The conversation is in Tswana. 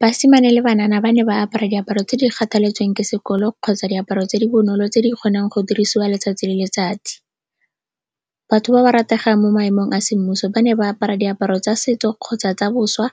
Basimane le banana ba ne ba apara diaparo tse di kgathaletsweng ke sekolo kgotsa diaparo tse di bonolo tse di kgonang go dirisiwa letsatsi le letsatsi. Batho ba ba rategang mo maemong a semmuso ba ne ba apara diaparo tsa setso kgotsa tsa boswa